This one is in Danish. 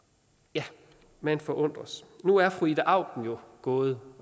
ja man forundres nu er fru ida auken gået